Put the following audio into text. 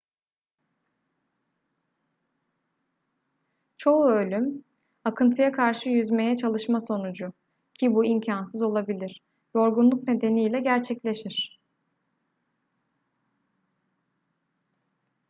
çoğu ölüm akıntıya karşı yüzmeye çalışma sonucu ki bu imkansız olabilir yorgunluk nedeniyle gerçekleşir